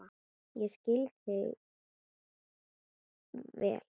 Ég skil þig vel.